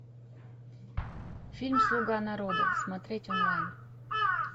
фильм слуга народа смотреть онлайн